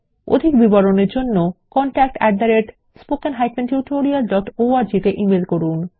অধিক বিবরণের জন্য contactspoken tutorialorg তে ইমেল করুন